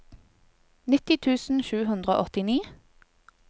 nitti tusen sju hundre og åttini